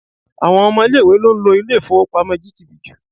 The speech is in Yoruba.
Àwọn ọmọ ilé-ìwé ló ń lo ilé-ifowopamo GTB jù.